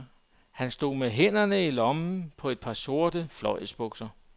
Han stod med hænderne i lommerne på et par sorte fløjlsbukser.